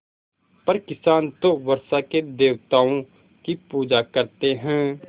पर किसान तो वर्षा के देवताओं की पूजा करते हैं